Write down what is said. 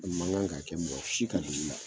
O man gan ka kɛ mɔgɔ si ka dugu la